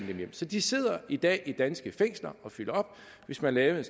hjem så de sidder i dag i danske fængsler og fylder op hvis man lavede